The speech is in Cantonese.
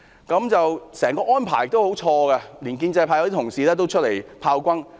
整個安排十分錯誤，連一些建制派議員也出來炮轟。